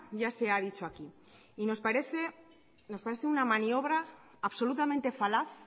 ya se ha dicho aquí y nos parece una maniobra absolutamente falaz